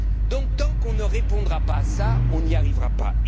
Donc, tant qu'on ne répondra pas à cela, on n'y arrivera pas.